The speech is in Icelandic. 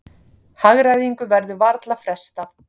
Hagræðingu verður varla frestað